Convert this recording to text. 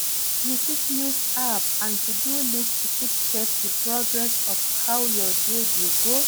You fit use app and to-do list to fit check di progress of how your day dey go